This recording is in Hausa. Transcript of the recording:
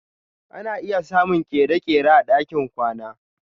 Ana iya samun kere-kere a ɗakin kwana.